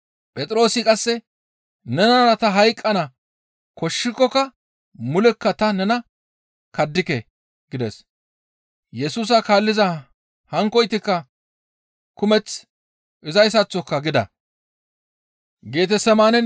Phexroosi qasse, «Nenara ta hayqqana koshshikokka mulekka ta nena kaddike!» gides. Yesusa kaalliza hankkoytikka kumeth izayssaththoka gida.